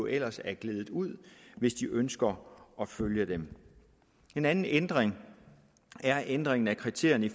ellers er gledet ud af hvis de ønsker at følge dem en anden ændring er ændringen af kriterierne